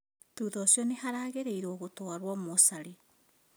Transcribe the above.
Thutha ũcio nĩaharagĩrĩrio gũtwarwo mocarĩ